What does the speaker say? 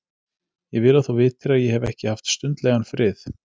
Ég vil þú vitir að ég hef ekki haft stundlegan frið.